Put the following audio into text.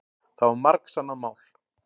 Það var margsannað mál.